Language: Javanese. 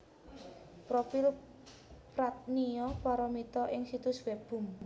Profil Pradnya Paramita ing situs web Bumn